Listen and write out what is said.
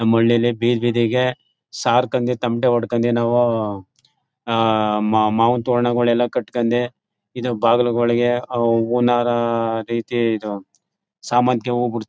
ನಮ್ ಹಳ್ಳಿಲಿ ಬೀದ್ ಬೀದಿಗೆ ಸಾರ್ಕಂಡೇ ತಮಟೆ ಹೊಡ್ಕೊಂಡೇ ನಾವುಆಹ್ಹ್ ಮಾವಿನ್ ತೋರಣ ಎಲ್ಲಾ ಕಟ್ಕೊಂಡು ಇದು ಬಾಗಿಲುಗಳಿಗೆ ಅವ್ ಹೂವಿನ್ ಹಾರ ರೀತಿ ಇದು ಸೇಮಂತಿಗೆ-